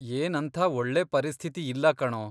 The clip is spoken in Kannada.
ಏನಂಥ ಒಳ್ಳೆ ಪರಿಸ್ಥಿತಿ ಇಲ್ಲ ಕಣೋ.